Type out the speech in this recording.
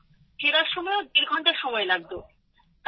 ফেরার সময়ও দেড় ঘণ্টা সময় লাগতো